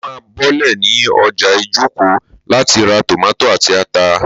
Mo má bọ́lẹ̀ ní ọjà Ijoko láti ra tòmátò àti ata